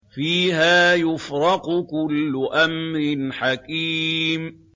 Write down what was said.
فِيهَا يُفْرَقُ كُلُّ أَمْرٍ حَكِيمٍ